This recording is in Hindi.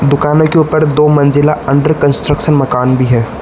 दुकान के ऊपर दो मंजिला अंडर कंस्ट्रक्शन मकान भी है।